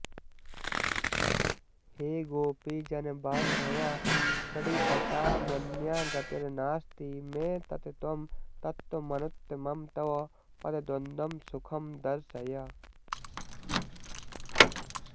हे गोपीजनबान्धव प्रणिपताम्यन्या गतिर्नास्ति मे तत् त्वं तत्त्वमनुत्तमं तव पदद्वन्द्वं सुखं दर्शय